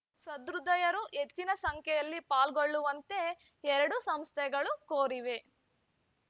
ಸಹೃದಯರು ಹೆಚ್ಚಿನ ಸಂಖ್ಯೆಯಲ್ಲಿ ಪಾಲ್ಗೊಳ್ಳುವಂತೆ ಎರಡೂ ಸಂಸ್ಥೆಗಳು ಕೋರಿವೆ